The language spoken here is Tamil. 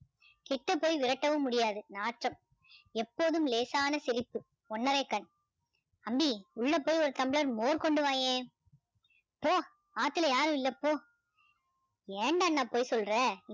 கிட்ட போய் விரட்டவும் முடியாது நாற்றம் எப்போதும் லேசான சிரிப்பு ஒன்னரை கண் அம்பி உள்ள போய் ஒரு டம்ளர் மோர் கொண்டுவாயேன் போ ஆத்துல யாரும் இல்ல போ ஏன்டா என்ன பொய் சொல்ற